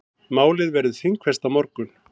Málið verður þingfest á morgun.